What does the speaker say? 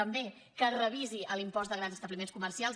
també que es revisi l’impost de grans establiments comercials